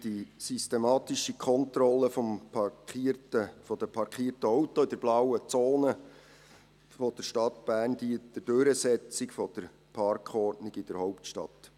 Die systematische Kontrolle der in der blauen Zone der Stadt Bern parkierten Autos dient der Durchsetzung der Parkordnung in der Hauptstadt.